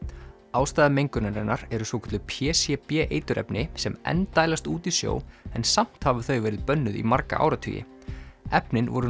ástæða mengunarinnar eru svokölluð p c b eiturefni sem enn dælast út í sjó en samt hafa þau verið bönnuð í marga áratugi efnin voru